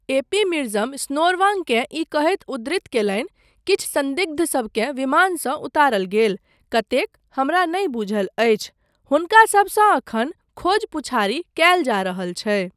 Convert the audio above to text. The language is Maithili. ए.पी. मिर्जम स्नोरवांगकेँ ई कहैत उद्धृत कयलनि, किछु सन्दिग्धसबकेँ विमानसँ उतारल गेल, कतेक, हमरा नहि बूझल अछि। हुनकासबसँ एखन खोज पूछारि कयल जा रहल छै।